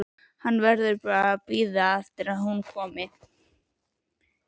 Hann verður bara að bíða eftir að hún komi.